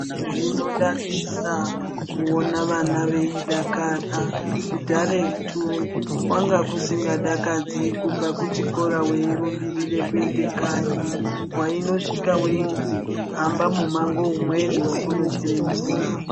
Zvinodadisa kuona vana veidakara. Kudharetu kwanga kusingadakadzi kubva kuchikora weirumbirire kuenda kanyi, waindosvika weizi hamba mumango umweni wekunochera mvura.